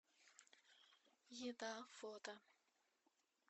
еда фото